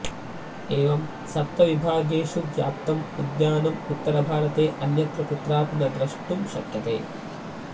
एवं सप्तविभागेषु व्याप्तम् उद्यानम् उत्तरभारते अन्यत्र कुत्रापि न द्रष्टुं शक्यते